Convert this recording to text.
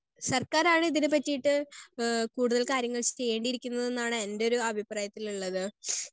Speaker 1 സർക്കാരാണ് ഇതിനെപ്പറ്റിയിട്ട് ആഹ് കൂടുതൽ കാര്യങ്ങൾ ചെയ്യേയിരിക്കുന്നതെന്നാണ് എൻറെ ഒരു അഭിപ്രായത്തിൽ ഉള്ളത്.